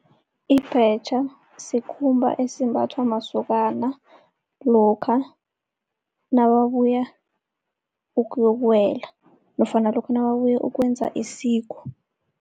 Ibhetjha sikhumba esimbathwa masokana lokha nababuya ukuyokuwela nofana lokha nababuya ukuyokwenza isiko.